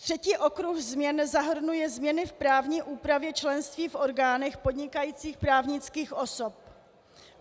Třetí okruh změn zahrnuje změny v právní úpravy členství v orgánech podnikajících právnických osob.